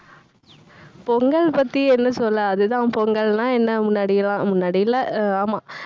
பொங்கல் பத்தி என்ன சொல்ல அதுதான் பொங்கல்னா என்ன முன்னாடிலாம் முன்னாடிலாம் அஹ் ஆமா.